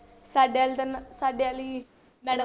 ਸਾਡੇ ਵਾਲੀ ਤਾਂ ਨਾ ਸਾਡੇ ਵਾਲੀ madam